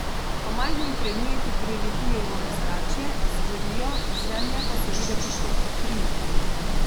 Ko majhni predmeti priletijo v ozračje, zgorijo, z Zemlje pa so videti kot utrinki.